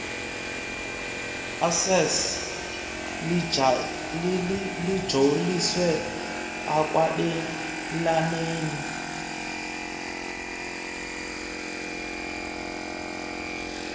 access lijoliswe ekwabelaneni